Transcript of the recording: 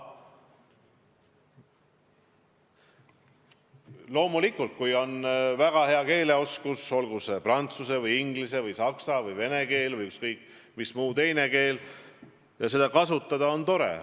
Loomulikult, kui on väga hea keeleoskus, olgu tegu prantsuse või inglise või saksa või vene või ükskõik mis keelega, siis seda kasutada on tore.